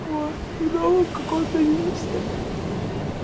но в каком-то месте